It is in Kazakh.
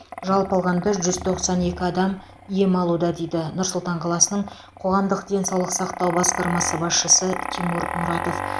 жалпы алғанда жүз тоқсан екі адам ем алуда дейді нұр сұлтан қаласының қоғамдық денсаулық сақтау басқармасы басшысы тимур мұратов